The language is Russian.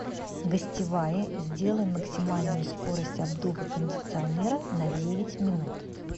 гостевая сделай максимальную скорость обдува кондиционера на девять минут